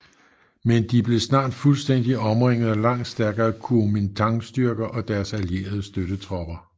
Men de blev snart fuldstændigt omringet af langt stærkere Kuomintangstyrker og deres allierede støttetropper